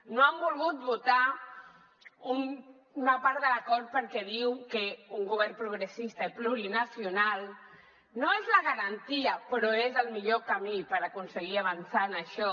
no han volgut votar una part de l’acord perquè diuen que un govern progressista i plurinacional no és la garantia però és el millor camí per aconseguir avançar en això